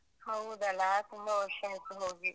ಹೌದಲ? ತುಂಬ ವರ್ಷ ಆಯ್ತು ಹೋಗಿ.